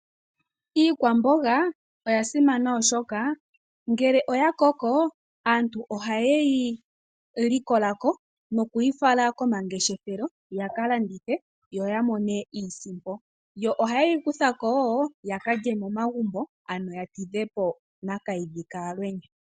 Iikwamboga oya simana oshoka ngele oya koko, aantu ohaye yi likola ko nokuyi fala komangeshefelo, yaka landithe yo ya mone iisimpo, yo ohaye yi kutha ko wo yaka lye momagumbo ano ya tidhe po nakayidhi kaalwenya.